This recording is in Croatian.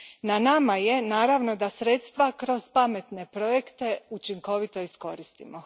Na nama je naravno da sredstva kroz pametne projekte učinkovito iskoristimo.